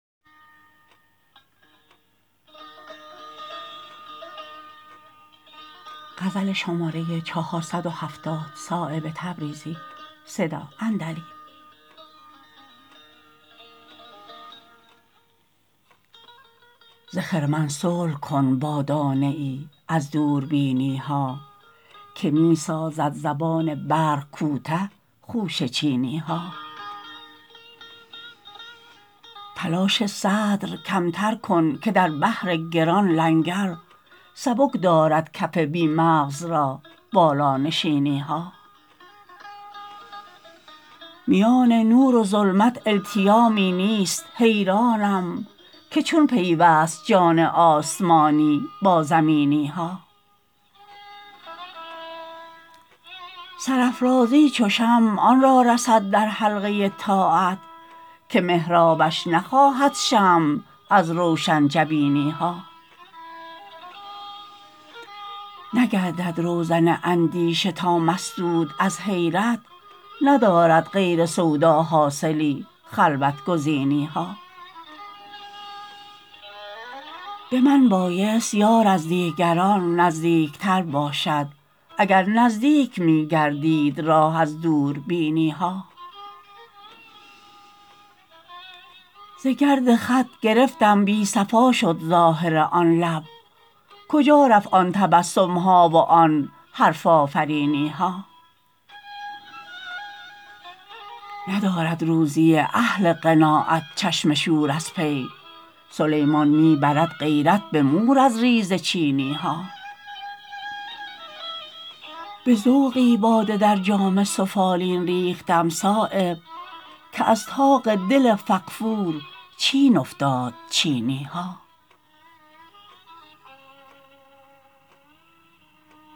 ز خرمن صلح کن با دانه ای از دوربینی ها که می سازد زبان برق کوته خوشه چینی ها تلاش صدر کمتر کن که در بحر گران لنگر سبک دارد کف بی مغز را بالانشینی ها میان نور و ظلمت التیامی نیست حیرانم که چون پیوست جان آسمانی با زمینی ها سرافرازی چو شمع آن را رسد در حلقه طاعت که محرابش نخواهد شمع از روشن جبینی ها نگردد روزن اندیشه تا مسدود از حیرت ندارد غیر سودا حاصلی خلوت گزینی ها به من بایست یار از دیگران نزدیک تر باشد اگر نزدیک می گردید راه از دوربینی ها ز گرد خط گرفتم بی صفا شد ظاهر آن لب کجا رفت آن تبسم ها و آن حرف آفرینی ها ندارد روزی اهل قناعت چشم شور از پی سلیمان می برد غیرت به مور از ریزه چینی ها به ذوقی باده در جام سفالین ریختم صایب که از طاق دل فغفور چین افتاد چینی ها